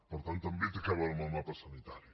per tant també té a veure amb el mapa sanitari